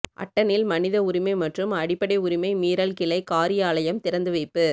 அட்டனில் மனித உரிமை மற்றும் அடிப்படை உரிமை மீறல் கிளை காரியாலயம் திறந்து வைப்பு